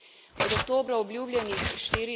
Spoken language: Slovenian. in je sama na robu zmogljivosti.